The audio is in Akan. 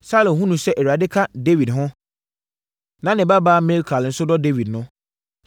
Saulo hunuu sɛ Awurade ka Dawid ho, na ne babaa Mikal nso dɔ Dawid no,